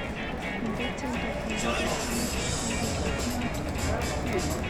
Inde tyendo nerube eng nakishek muut.